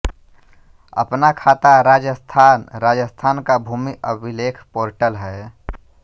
अपना खाता राजस्थान राजस्थान का भूमि अभिलेख पोर्टल हैं